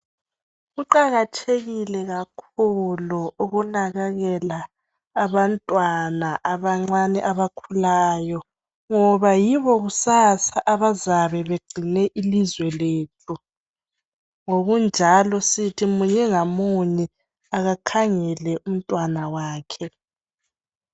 Kuqakathekile kakhulu ukunakekela abantwana abancane abakhulayo ngoba yibo kusasa abazabe begcine ilizwe lethu ngokunjalo sithi munye ngamunye akakhangele umntwana wakhe.